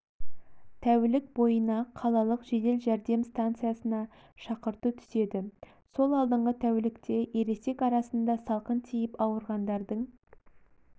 тәулік бойына қалалық жедел жәрдем стансасына шақырту түседі сол алдыңғы тәулікте ересек арасында салқын тиіп ауырғандардың